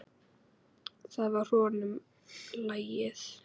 Það var honum lagið.